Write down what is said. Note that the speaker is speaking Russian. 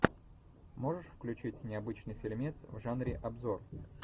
можешь включить необычный фильмец в жанре обзор